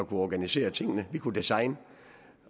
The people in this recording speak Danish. kunne organisere tingene at vi kunne designe